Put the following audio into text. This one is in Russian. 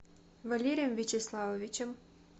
валерием вячеславовичем